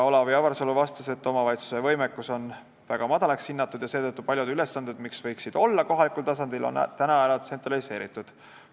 Olav Avarsalu vastas, et omavalitsuste võimekus on väga madalaks hinnatud ja seetõttu on paljud ülesanded, mis võiksid olla kohalikul tasandil, ära tsentraliseeritud.